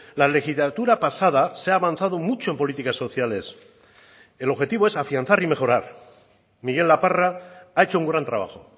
la legislatura pasada se ha avanzado mucho en políticas sociales el objetivo es afianzar y mejorar miguel laparra ha hecho un gran trabajo